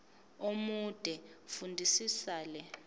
omude fundisisa le